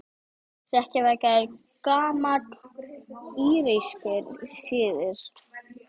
Hrekkjavaka er gamall írskur siður.